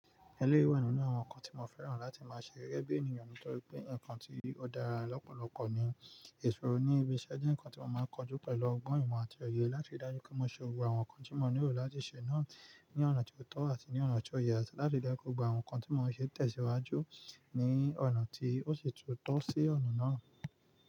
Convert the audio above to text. Ẹlẹ́yií wà nínú àwọn nǹkan tí mo fẹ́ràn láti máa ṣe gẹ́gẹ́ bí ènìyàn nítorí pé nǹkan tí ó dára lọ́pọ̀lọpọ̀ ní ìṣòro ní ibi iṣẹ́ je. Nǹkan tí mo máa ń kojú pẹ̀lú ọgbọ́n ìmọ̀ àti òye láti ri dájú pé mo ṣe gbogbo àwọn nǹkan tí mo nílò láti ṣe náà ní ọ̀nà tó tọ́ àti ní ọ̀nà tó yẹ láti ri daju pe gbogbo àwọn nǹkan tí mo ń ṣe tẹ̀síwájú ní ọ̀nà tí ó sì tún tọ́ sí ọ̀nà náà.